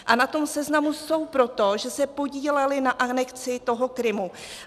A na tom seznamu jsou proto, že se podíleli na anexi toho Krymu.